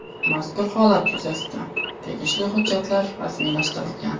Mazkur holat yuzasidan tegishli hujjatlar rasmiylashtirilgan.